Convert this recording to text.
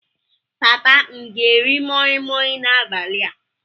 Papa m ga-eri moi Moi n'abalị a?